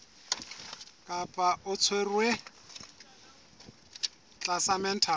kapa o tshwerwe tlasa mental